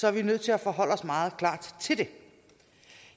er vi nødt til at forholde os meget klart til det